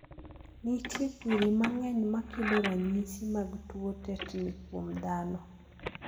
Nitie kwiri mang'eny makelo ranyisi mag tuo tetni kuom dhano.